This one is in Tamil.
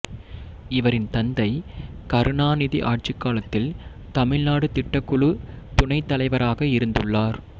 இவரின் தந்தை கருணாநிதி ஆட்சிக் காலத்தில் தமிழ்நாடு திட்டக்குழு துணை தலைவராக இருந்துள்ளார்